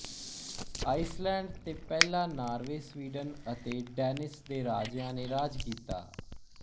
Iceland ਤੇ ਪਹਿਲਾ Norway Sweden ਅਤੇ ਡੈਨਿਸ ਦੇ ਰਾਜਿਆ ਨੇ ਰਾਜ ਕੀਤਾ